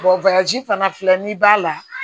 fana filɛ nin b'a la